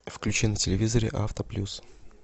включи на телевизоре авто плюс